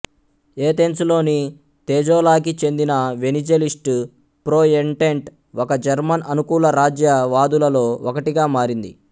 ఏథెన్సులోని తేజోలాకి చెందిన వెనిజలిస్ట్ ప్రోఎంటెంట్ ఒక జర్మన్ అనుకూల రాజ్యవాదులలో ఒకటిగా మారింది